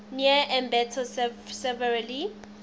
near ambato severely